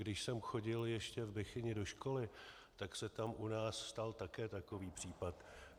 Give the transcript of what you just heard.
Když jsem chodil ještě v Bechyni do školy, tak se tam u nás stal také takový případ.